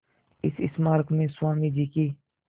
इस स्मारक में स्वामी जी की